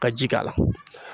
Ka ji k'a la.